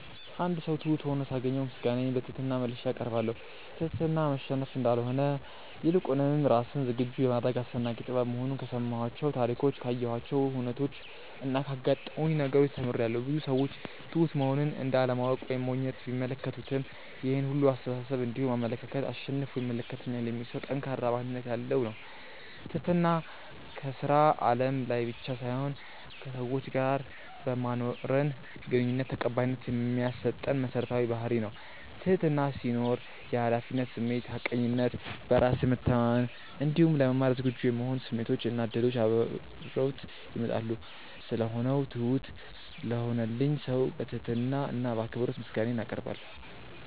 አንድ ሰው ትሁት ሁኖ ሳገኘው ምስጋናዬን በትህትና መልሼ አቀርባለሁ። ትህትና መሸነፍ እንዳልሆነ ይልቁንም ራስን ዝግጁ የማድረግ አስደናቂ ጥበብ መሆኑን ከሰማኋቸው ታሪኮች ካየኋቸው ሁነቾች እና ካጋጠሙኝ ነገሮች ተምሬያለው። ብዙ ሰዎች ትሁት መሆንን እንደ አለማወቅ ወይም ሞኝነት ቢመለከቱትም ይሄን ሁላ አስተሳሰብ እንዲሁም አመለካከት አሸንፎ ይመለከተኛል የሚል ሰው ጠንካራ ማንነት ያለው ነው። ትህትና ከስራ አለም ላይ ብቻ ሳይሆን ከሰዎች ጋር በማኖረን ግንኙነት ተቀባይነት የሚያሰጠን መሰረታዊ ባህርይ ነው። ትህትና ሲኖር የሀላፊነት ስሜት፣ ሀቀኝነት፣ በራስ መተማመን እንዲሁም ለመማር ዝግጁ የመሆን ስሜቶች እና እድሎች አብረውት ይመጣሉ። ስለሆነው ትሁት ለሆነልኝ ሰው በትህትና እና በአክብሮት ምስጋናዬን አቀርባለሁ።